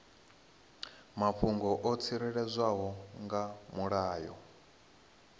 mafhungo o tsireledzwaho nga mulayo